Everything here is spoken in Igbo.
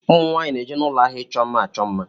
Ụmụnwaanyi na-eje n'ụlọ áhiá ịchọ mma achọ mma.